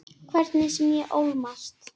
Hvernig sem ég ólmast.